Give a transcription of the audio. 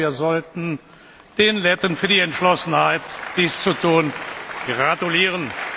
Wir sollten den Letten für die Entschlossenheit, dies zu tun, gratulieren!